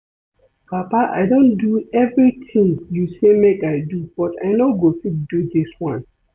Papa I don do everything you say make I do but I no go fit do dis one